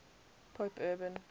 pope urban